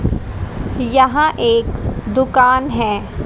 यहां एक दुकान हैं।